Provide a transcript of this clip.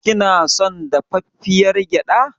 Kina son dafaffiyar gyaɗa.